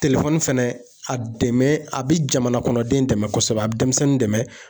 fɛnɛ a dɛmɛ a bi jamana kɔnɔden dɛmɛ kosɛbɛ, a bi denmisɛnnin dɛmɛ